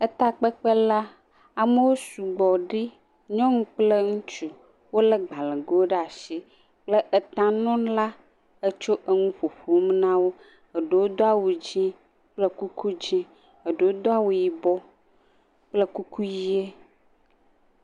Etakpekpe la, amewo sugbɔɖi, nyɔnu kple ŋutsu, wolé gbalẽgo ɖe asi le eta nɔ la etsɔ enu ƒoƒom na wo, eɖewo do awu dze kple kuku dze, eɖewo do awu yibɔ kple kuku ʋɛ̃e.